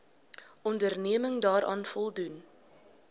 onderneming daaraan voldoen